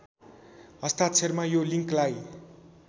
हस्ताक्षरमा यो लिङ्कलाई